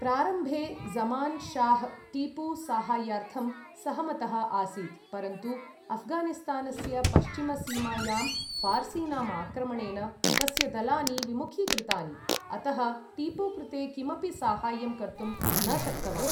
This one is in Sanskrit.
प्रारम्भे ज़मान् शाह्, टीपु सहायार्थं सहमतः आसीत्, परन्तु अऴ्घानिस्तानस्य पश्चिमसीमायां फार्सीनां आक्रमणेन तस्य दलानि विमुखीकृतानि, अतः टीपु कृते किमपि साहाय्यं कर्तुं न शक्तवान्।